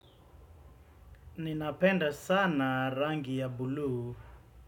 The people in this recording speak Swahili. Ninapenda sana rangi ya bluu.